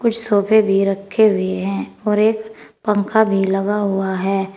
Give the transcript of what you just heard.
कुछ सोफे भी रखे हुए हैं और एक पंखा भी लगा हुआ है।